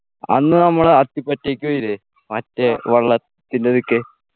അന്ന് നമ്മള് അത്തിപറ്റക്ക് പോയില്ലേ മറ്റേ വള്ളത്തിലൊക്കെ